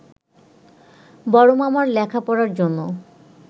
বড় মামার লেখাপড়ার জন্য